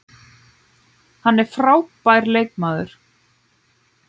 Hann er frábær leikmaður